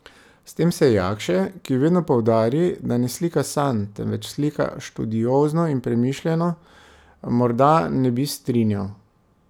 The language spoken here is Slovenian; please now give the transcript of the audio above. S tem se Jakše, ki vedno poudari, da ne slika sanj, temveč slika študiozno in premišljeno, morda ne bi strinjal.